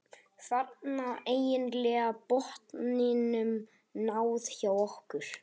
Þarna var eiginlega botninum náð hjá okkur.